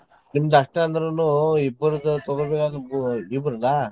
ನಿಮ್ದ್ ಅಷ್ಟ್ ಅಂದ್ರೂನು ಇಬ್ಬರ್ದು ತೊಗೋಬೇಕಲಾ .